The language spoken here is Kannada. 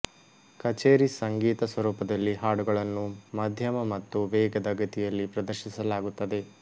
ಕಛೇರಿ ಸಂಗೀತ ಸ್ವರೂಪದಲ್ಲಿ ಹಾಡುಗಳನ್ನು ಮಧ್ಯಮ ಮತ್ತು ವೇಗದ ಗತಿಯಲ್ಲಿ ಪ್ರದರ್ಶಿಸಲಾಗುತ್ತದೆ